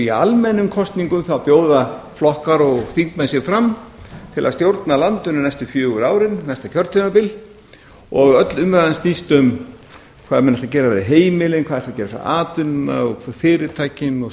í almennum kosningum bjóða flokkar og þingmenn sig fram til að stjórna landinu næstu fjögur árin næsta kjörtímabil og öll umræðan snýst um hvað menn ætla að bara við heimilin hvað menn ætla að gera við atvinnuna fyrirtækin og svo